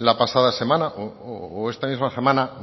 la pasada semana o esta misma semana